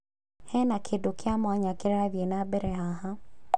Hena kĩndũ kĩa mwanya kĩrathiĩ na mbere haha.